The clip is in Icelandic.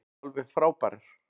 Alveg frábærar.